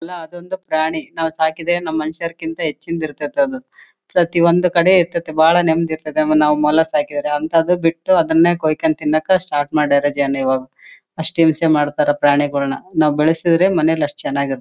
ಅಲ್ಲ ಅದೊಂದು ಪ್ರಾಣಿ ನಾವು ಸಾಕಿದರೆ ನಮ್ ಮನುಷ್ಯರಕ್ಕಿಂತ ಹೆಚ್ಚು ಇರ್ತಾತ್ತೆ ಅದು ಪ್ರತಿ ಒಂದು ಇರ್ತಾತ್ತೆ ಬಹಳ ನೆಮ್ಮದಿ ಇರ್ತಾತ್ತೆ ಆಮೇಲೆ ನಾವು ಮೊಲ ಸಾಕಿದರೆ ಅಂಥದ್ದು ಬಿಟ್ಟು ಅದನ್ನೇ ಕೊಯ್ಕೊಂಡು ತಿನ್ನಕ್ಕ ಸ್ಟಾರ್ಟ್ ಮಾಡ್ಯಾರ ಜನ ಅಸ್ತ್ ಹಿಂಸೆ ಮಾಡ್ತಾರಾ ಪ್ರಾಣಿಗಳನ್ನ ನಾವು ಬೆಳೆಸಿದರೆ ಮನೇಲಿ ಅಸ್ತ್ ಚೆನ್ನಾಗಿ ಇರ್ತಿತ್ತು.